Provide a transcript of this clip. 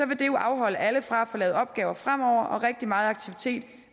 vil det jo afholde alle fra at få lavet opgaver fremover og rigtig meget aktivitet i